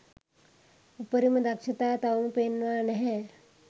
උපරිම දක්ෂතා තවම පෙන්වා නැහැ